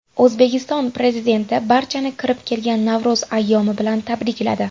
O‘zbekiston Prezidenti barchani kirib kelgan Navro‘z ayyomi bilan tabrikladi.